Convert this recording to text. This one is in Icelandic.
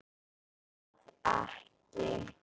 Vil það ekki.